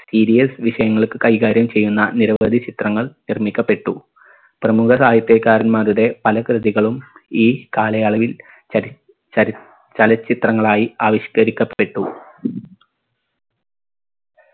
serious വിഷയങ്ങൾക്ക് കൈകാര്യം ചെയ്യുന്ന നിരവധി ചിത്രങ്ങൾ നിർമ്മിക്കപ്പെട്ടു പ്രമുഖരായത്തെ കാരന്മാരുടെ പല കൃതികളും ഈ കാലയളവിൽ ചരി ചല ചലച്ചിത്രങ്ങളായി ആവിഷ്കരിക്കപ്പെട്ടു